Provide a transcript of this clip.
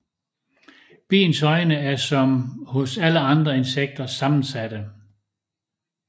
Biens øjne er som hos alle andre insekter sammensatte